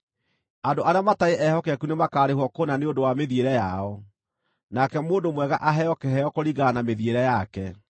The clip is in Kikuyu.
Andũ arĩa matarĩ ehokeku nĩmakarĩhwo kũna nĩ ũndũ wa mĩthiĩre yao, nake mũndũ mwega aheo kĩheo kũringana na mĩthiĩre yake.